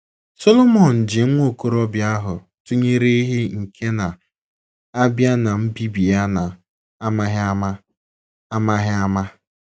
Solomọn ji nwa okorobịa ahụ tụnyere ‘ ehi nke na - abịa n’mbibi ya na amaghị ama. ’ amaghị ama. ’